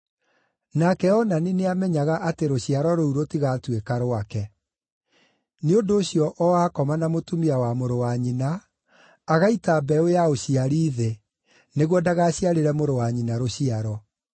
Nake Onani nĩamenyaga atĩ rũciaro rũu rũtigatuĩka rwake; nĩ ũndũ ũcio o akoma na mũtumia wa mũrũ wa nyina, agaita mbeũ ya ũciari thĩ, nĩguo ndagaciarĩre mũrũ wa nyina rũciaro.